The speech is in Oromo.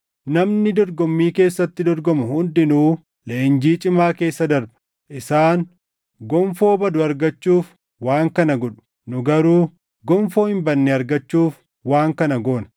Namni dorgommii keessatti dorgomu hundinuu leenjii cimaa keessa darba. Isaan gonfoo badu argachuuf waan kana godhu; nu garuu gonfoo hin badne argachuuf waan kana goona.